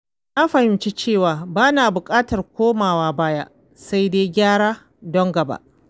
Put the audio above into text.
Na fahimci cewa ba na buƙatar komawa baya, sai dai gyara don gaba.